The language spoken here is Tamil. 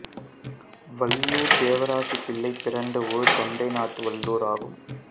வல்லூர் தேவராசப்பிள்ளை பிறந்த ஊர் தொண்டை நாட்டு வல்லூர் ஆகும்